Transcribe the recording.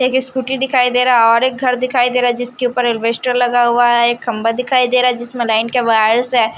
एक स्कूटी दिखाई दे रहा है और एक घर दिखाई दे रहा है जिसके ऊपर अल्बेस्टर लगा हुआ है एक खंभा दिखाई दे रहा है जिसमें लाइन के वायर्स हैं।